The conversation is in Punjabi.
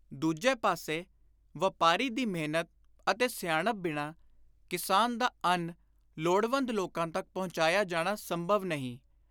ਦੂਜੇ ਪਾਸੇ, ਵਾਪਾਰੀ ਦੀ ਮਿਹਨਤ ਅਤੇ ਸਿਆਣਪ ਬਿਨਾਂ, ਕਿਸਾਨ ਦਾ ਅੰਨ ਲੋੜਵੰਦ ਲੋਕਾਂ ਤਕ ਪੁਚਾਇਆ ਜਾਣਾ ਸੰਭਵ ਨਹੀਂ।